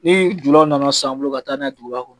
Ni julaw nana san bolo ka taa n'a ye duguba kɔnɔ